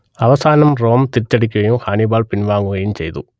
അവസാനം റോം തിരിച്ചടിക്കുകയും ഹാനിബാൾ പിൻവാങ്ങുകയും ചെയ്തു